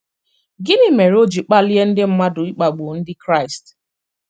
Gịnị mere o ji kpalie ndị mmadụ ịkpagbu Ndị Kraịst?